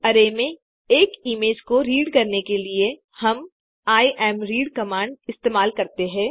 array में एक image को रीड करने के लिए हम इमरीड कमांड इस्तेमाल करते हैं